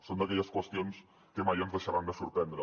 són d’aquelles qüestions que mai ens deixaran de sorprendre